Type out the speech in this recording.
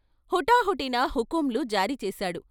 హుటాహుటిన హుకుంలు జారీ చేసాడు.